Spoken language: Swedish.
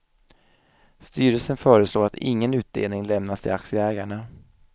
Styrelsen föreslår att ingen utdelning lämnas till aktieägarna.